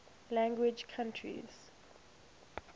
language countries